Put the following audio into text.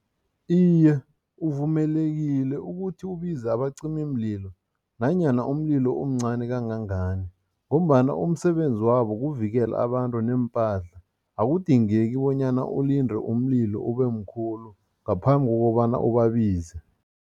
Iye, uvumelekile ukuthi ubize abacimimlilo nanyana umlilo umncani kangangani ngombana umsebenzi wabo kuvikela abantu neempahla. Akudingeki bonyana ulinde umlilo ubemkhulu ngaphambi kokobana ubabize.